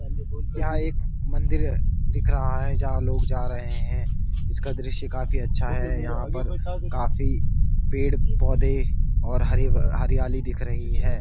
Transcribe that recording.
यहाँ एक मंदिर दिख रहा है जहाँ लोग जा रहे हैं। इसका दृश्य काफ़ी अच्छा है यहाँ पर काफ़ी पेड़-पौधे और हरीब-हरियाली दिख रही है।